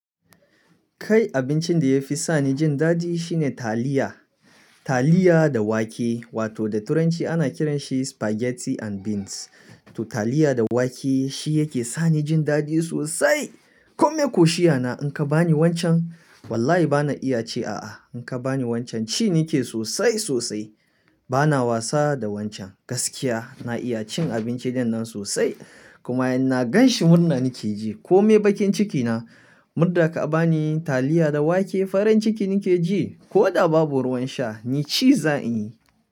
Kai abincin da ya fi sani jin daɗi shine taliya, taliya da wake wato da turanci ana kiranshi spaghetti and beans. To taliya da wake shi yake sani jin daɗi sosai. Komai koshiyana in ka bani wancan wallahi bana iya ce a'a. In ka bani wancan ci nake sosai sosai. Bana wasa da wancan gaskiya na iya cin abinci dinnan sosai. Kuma in na ganshi murna nake ji. Komai bakin cikina murda ka bani taliya da wake farin ciki nake ji. Ko da babu ruwan sha ni ci za'in yi.